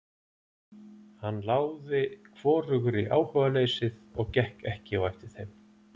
Hann láði hvorugri áhugaleysið og gekk ekki á eftir þeim.